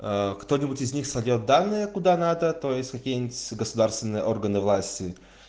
кто-нибудь из них сольёт данные куда надо то есть в какие-нибудь государственные органы власти